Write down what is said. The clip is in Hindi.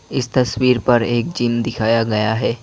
इस तस्वीर पर एक जिम दिखाया गया है।